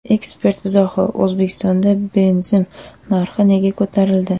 Ekspert izohi: O‘zbekistonda benzin narxlari nega ko‘tarildi?.